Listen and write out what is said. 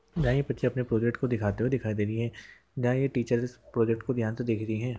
यही पिक्चर पे प्रोजेक्ट दिखाई दे रही है और टीचर्स प्रोजेक्ट को ध्यान से देख रही है।